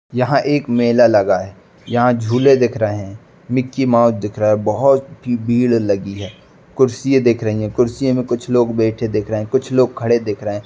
यहाँ एक मेला लगा है यहाँ झूले दिख रहे हैं मिक्की माउस दिख रहा है बहोत भीड़ लगी है। कुर्सिये दिख रही हैं। कुर्सिये में कुछ लोग बैठे दिख रहे हैं कुछ लोग खड़े दिख रहे हैं।